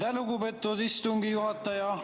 Aitäh, lugupeetud istungi juhataja!